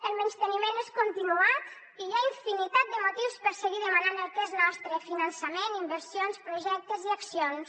el menysteniment és continuat i hi ha infinitat de motius per seguir demanant el que és nostre finançament inversions projectes i accions